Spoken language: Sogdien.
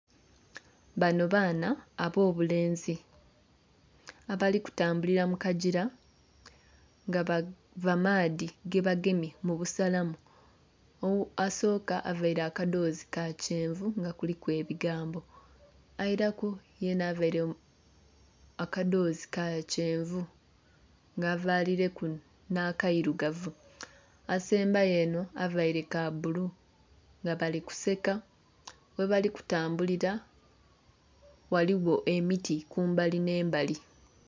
Bano baana ab'obulenzi abali kutambulira mu kagira nga bava maadhi gebagemye mu busalamu. Asooka availe akadhoozi ka kyenvu nga kuliku ebigambo. Ailaku yenha availe akadhoozi ka kyenvu nga avaalileku nh'akairugavu. Asembayo enho availe ka bbulu. Nga bali kuseka. Ghebali kutambulira ghaligho emiti kumbali nh'embali.